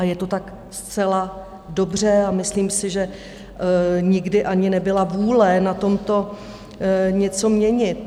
A je to tak zcela dobře a myslím si, že nikdy ani nebyla vůle na tomto něco měnit.